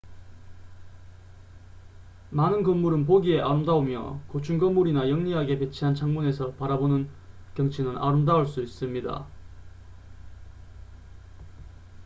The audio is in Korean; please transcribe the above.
많은 건물은 보기에 아름다우며 고층 건물이나 영리하게 배치한 창문에서 바라보는 경치는 아름다울 수 있습니다